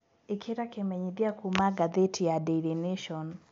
ĩkĩra kimenyithia kũma gathiti ya daily nation